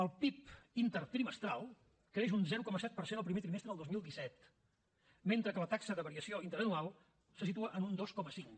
el pib intertrimestral creix un zero coma set per cent el primer trimestre del dos mil disset mentre que la taxa de variació interanual se situa en un dos coma cinc